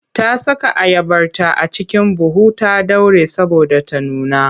Ta saka ayabarta a cikin buhu ta ɗaure saboda ta nuna.